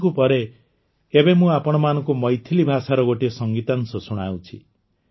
ତେଲୁଗୁ ପରେ ଏବେ ମୁଁ ଆପଣମାନଙ୍କୁ ମୈଥିଲି ଭାଷାର ଗୋଟିଏ ସଙ୍ଗୀତାଂଶ ଶୁଣାଉଛି